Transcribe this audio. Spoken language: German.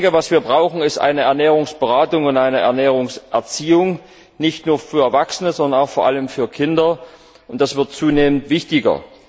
Was wir brauchen ist eine Ernährungsberatung und eine Ernährungserziehung, nicht nur für Erwachsene, sondern vor allem auch für Kinder, und das wird zunehmend wichtiger.